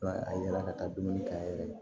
a yɛrɛ ka taa dumuni kɛ a yɛrɛ ye